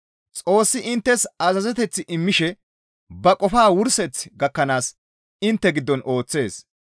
Xoossi inttes azazeteth immishe ba qofaa wurseth gakkanaas intte giddon ooththees.